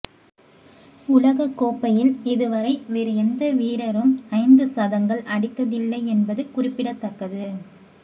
உலகக் கோப்பையில் இதுவரை வேறு எந்த வீரரும் ஐந்து சதங்கள் அடித்ததில்லை என்பது குறிப்பிடத்தக்கது